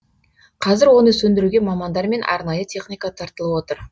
қазір оны сөндіруге мамандар мен арнайы техника тартылып отыр